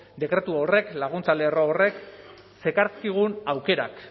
dekretu horrek laguntza lerro horrek zekarzkigun aukerak